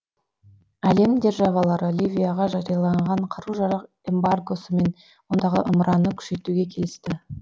әлем державалары ливияға жарияланған қару жарақ эмбаргосы мен ондағы ымыраны күшейтуге келісті